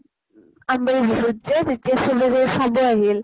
আম বাৰীৰ বিহুত যে তেতিয়া চবে গৈ চাব আহিল